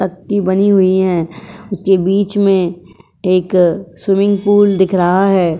पक्की बनी हुई हैं। उसके बीच में एक स्विमिंग पूल दिख रहा है।